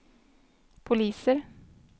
poliser